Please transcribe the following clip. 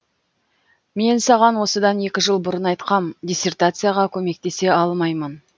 мен саған осыдан екі жыл бұрын айтқам диссертацияға көмектесе алмаймын